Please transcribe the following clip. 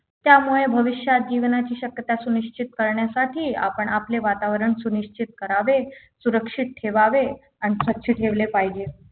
त्यामुळे भविष्यात जीवनाची शक्यता सुनिश्चित करण्यासाठी आपण आपले वातावरण सुनिश्चित करावे सुरक्षित ठेवावे आणि स्वच्छ ठेवले पाहिजे